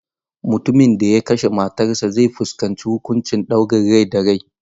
Mutumin da ya kashe matarsa ​​zai fuskanci huƙuncin ɗaurin rai da rai.